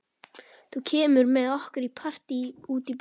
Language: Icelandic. Þú kemur með okkur í partí út í bæ.